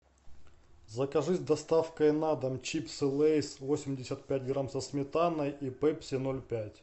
закажи с доставкой на дом чипсы лейс восемьдесят пять грамм со сметаной и пепси ноль пять